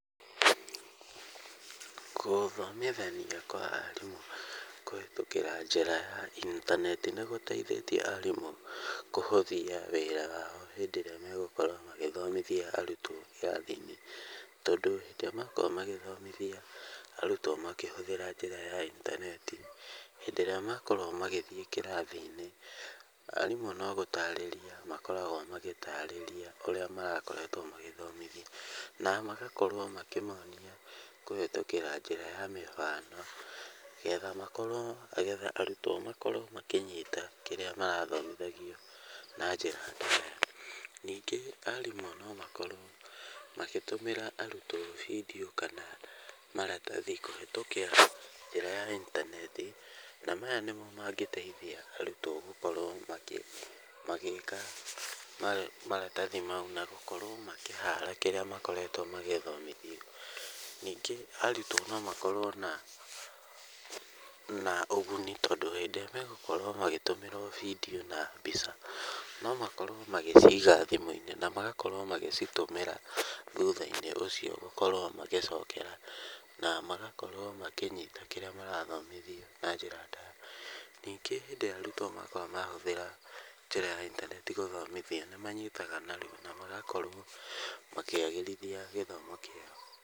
Gũthomithania kwa arimũ kũhĩtũkĩra njĩra ya intaneti nĩgũteithĩtie arimũ kũhũthia wĩra wao hĩndĩ ĩrĩa megũkorwo magĩthomithia arutwo irathi-inĩ, tondũ hĩndĩ ĩrĩa makorwo magĩthomithia arutwo makĩhũthĩra njĩra ya intaneti, hĩndĩ ĩrĩa makorwo magĩthiĩ kĩrathi-inĩ, arimũ no gũtarĩria makoragwo magĩtarĩria ũrĩa marakoretwo magĩthomithia, na magakorwo makĩmonia kũhĩtũkĩra njĩra ya mĩhano getha makorwo getha arutwo makorwo makĩnyita kĩrĩa marathomihagio na njĩra ndaya. Ningĩ arimũ no makorwo magĩtũmĩra arutwo vidiũ kana maratathi kũhĩtũkĩra njĩra ya intaneti na maya nĩmo mangĩtethia arutwo gũkorwo magĩka maratathi mau na gũkorwo makĩhara kĩrĩa makoretwo magĩthomithio. Ningĩ arutwo no makorwo na ũguni tondũ hĩndĩ ĩrĩa megũkorwo magĩtũmĩrwo vidiũ na mbica, no makorwo magĩciga thimũ-inĩ na magakorwo magĩcitũmĩra thutha-inĩ ũcio gũkorwo magĩcokera na magakorwo makĩnyita kĩrĩa marathomithio na njĩra ndaya. Ningĩ hĩndĩ ĩrĩa arutwo makorwo mahũthĩra njĩra ya intaneti gũthomithia nĩmanyitaga narua na magakorwo makĩagĩrithia gĩthomo kĩao.